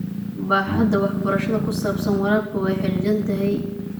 Baaxadda waxbarashada ku saabsan waraabka waa xaddidan tahay.